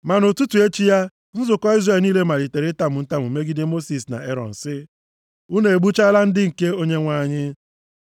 Ma nʼụtụtụ echi ya, nzukọ Izrel niile malitere itamu ntamu megide Mosis na Erọn sị, “Unu egbuchaala ndị nke Onyenwe anyị.”